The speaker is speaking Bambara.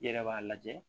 I yɛrɛ b'a lajɛ